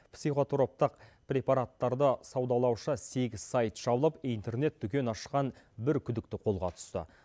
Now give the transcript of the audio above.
психотроптық препараттарды саудалаушы сегіз сайт шалып интернет дүкен ашқан бір күдікті қолға түсті